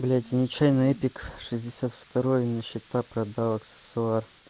блять я нечаянно эпик шестьдесят второй на счета продал аксессуар